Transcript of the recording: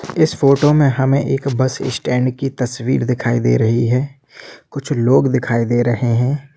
इस फ़ोटो मे हमें एक बस स्टैंड की तस्वीर दिखाई दे रही है कुछ लोग दिखाई दे रहे है।